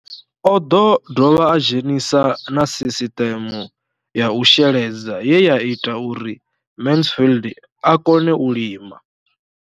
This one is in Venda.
O ḓo dovha a dzhenisa na sisiṱeme ya u sheledza ye ya ita uri Mansfied a kone u lima.